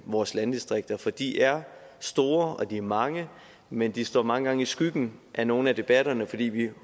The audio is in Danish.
vores landdistrikter for de er store og de er mange men det står mange gange i skyggen i nogle af debatterne fordi vi